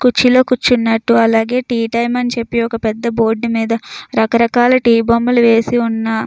కుర్చీలో కూర్చున్నట్టు అలాగే టీ టైము అని చెప్పి ఒక పెద్ద బోర్డు మీద రకరకాల టీ బొమ్మలు వేసి ఉన్నాయి.